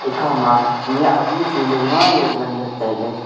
ekha ma nyah bu chu maima jao nganle taile.